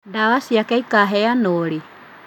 Ndawa ciake ikaheanwo rĩ?